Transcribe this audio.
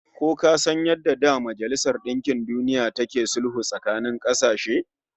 Ko ka san yadda da Majalisar Dinkin Duniya take sulhu tsakanin kasashe?